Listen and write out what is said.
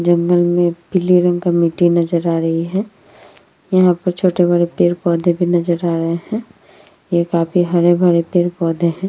जंगल में पीले रंग का मिट्टी नजर आ रही है। यहाँ पे छोटे-बड़े भी पेड़-पौधे नजर आ रहे हैं। ये काफी हरे-भरे पेड़-पौधे हैं।